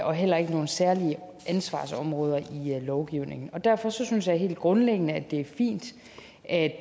og heller ikke nogen særlige ansvarsområder i lovgivningen derfor synes jeg helt grundlæggende det er fint at